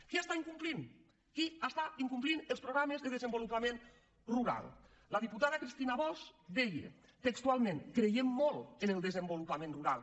qui incompleix qui incompleix els programes de desenvolupament rural la diputada cristina bosch deia textualment creiem molt en el desenvolupament rural